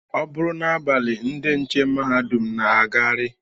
Ọ bụrụ n'abalị ndị nche mahadum na-agagharị